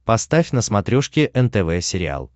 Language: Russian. поставь на смотрешке нтв сериал